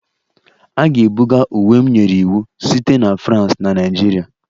A ga-ebuga uwe m nyere iwu site na France na Nigeria